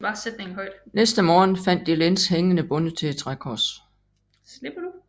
Næste morgen fandt de Lenz hængende bundet til et trækors